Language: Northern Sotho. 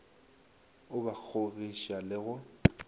o ba kgogiša le go